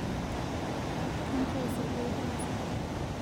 ke nkoosi aja itaasa